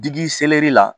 Digi la